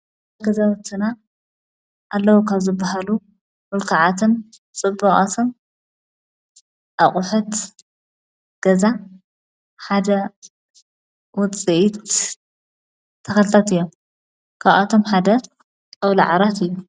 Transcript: ገዛወትና ኣለዉ ካብዝብሃሉ ምልከዓትን ጽቡቃትን ኣቝሕት ገዛ ሓደ ዉፅኢት ተኸዘኑ እዮም ካብኣቶም ሓደ ጣውላዓራት እዩ።